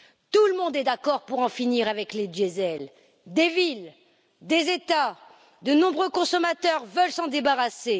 Tout le monde est d'accord pour en finir avec le diesel. Des villes, des États, de nombreux consommateurs veulent s'en débarrasser.